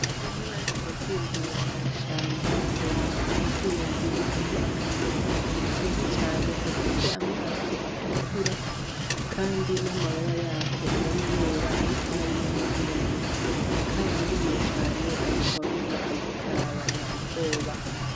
Ejo nariko ndatembera mw'ishamba mbona ku giti hejuru hariho akanyoni keza cane gafise amaso atukura kandi n'amababa yako yari yera ariko harimwo n'ayirabura, karanryoheye cane ariko wamenga kariko karabana ubwoba.